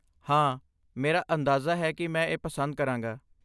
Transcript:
ਹਾਂ, ਮੇਰਾ ਅੰਦਾਜ਼ਾ ਹੈ ਕਿ ਮੈਂ ਇਹ ਪਸੰਦ ਕਰਾਂਗਾ।